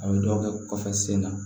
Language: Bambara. A bɛ dɔw kɛ kɔfɛ sen na